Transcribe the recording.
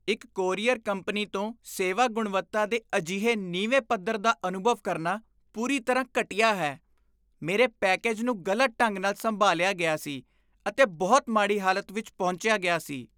ਇੱਕ courier company ਤੋਂ ਸੇਵਾ ਗੁਣਵੱਤਾ ਦੇ ਅਜਿਹੇ ਨੀਵੇਂ ਪੱਧਰ ਦਾ ਅਨੁਭਵ ਕਰਨਾ ਪੂਰੀ ਤਰ੍ਹਾਂ ਘਟੀਆ ਹੈ। ਮੇਰੇ ਪੈਕੇਜ ਨੂੰ ਗਲਤ ਢੰਗ ਨਾਲ ਸੰਭਾਲਿਆ ਗਿਆ ਸੀ ਅਤੇ ਬਹੁਤ ਮਾੜੀ ਹਾਲਤ ਵਿੱਚ ਪਹੁੰਚਿਆ ਗਿਆ ਸੀ।